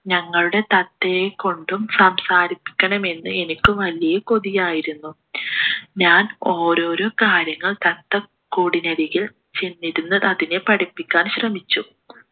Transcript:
ഞങ്ങളുടെ തത്തയെ കൊണ്ടും സംസാരിപ്പിക്കണമെന്ന് എനിക്ക് വലിയ കൊതിയായിരുന്നു ഞാൻ ഓരോരോ കാര്യങ്ങൾ തത്ത കൂടിനരികിൽ ചെന്നിരുന്നു അതിനെ പഠിപ്പിക്കാൻ ശ്രമിച്ചു